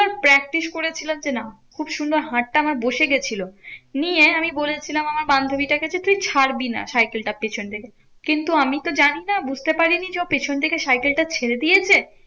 Practice করেছিলাম যে না খুব সুন্দর হাতটা আমার বসে গেছিলো। নিয়ে আমি বলেছিলাম আমার বান্ধবীটা কে যে তুই ছাড়বি না সাইকেলটা পেছন থেকে। কিন্তু আমি তো জানি না বুঝতে পারিনি যে ও পেছন থেকে সাইকেল টা ছেড়ে দিয়েছে।